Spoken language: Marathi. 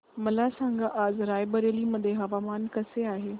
मला सांगा आज राय बरेली मध्ये हवामान कसे आहे